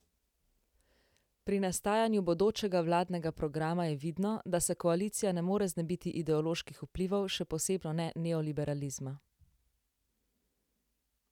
Pri nastajanju bodočega vladnega programa je vidno, da se koalicija ne more znebiti ideoloških vplivov, še posebno ne neoliberalizma.